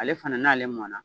Ale fana n'ale mɔna